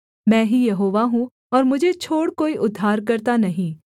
मैं ही यहोवा हूँ और मुझे छोड़ कोई उद्धारकर्ता नहीं